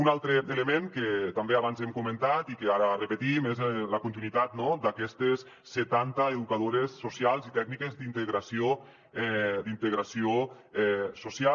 un altre element que també abans hem comentat i que ara repetim és la continuïtat no d’aquestes setanta educadores socials i tècniques d’integració social